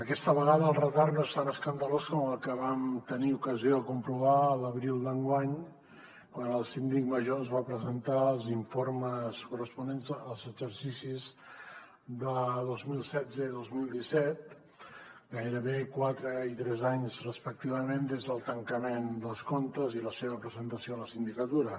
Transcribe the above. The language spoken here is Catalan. aquesta vegada el retard no és tan escandalós com el que vam tenir ocasió de comprovar l’abril d’enguany quan el síndic major ens va presentar els informes corresponents als exercicis de dos mil setze i dos mil disset gairebé quatre i tres anys respectivament des del tancament dels comptes i la seva presentació a la sindicatura